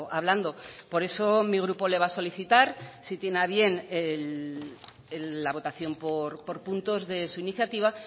hablando por eso mi grupo le va a solicitar si tiene a bien la votación por puntos de su iniciativa